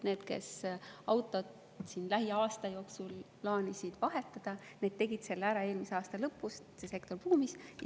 Need, kes autot lähiaasta jooksul plaanisid vahetada, tegid üsna tõenäoliselt selle ära eelmise aasta lõpus, seetõttu see sektor buumis.